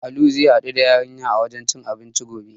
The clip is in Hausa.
Alu zai haɗu da yarinyar a wajen cin abinci gobe.